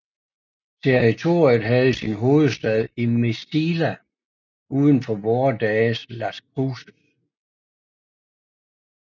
Territoriet havde sin hovedstad i Mesilla udenfor vore dages Las Cruses